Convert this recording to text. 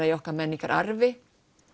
í okkar menningararfi